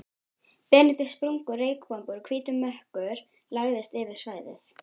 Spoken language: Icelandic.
Benedikt, sprungu reykbombur og hvítur mökkur lagðist yfir svæðið.